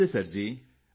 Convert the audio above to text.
ਨਮਸਤੇ sir ਜੀ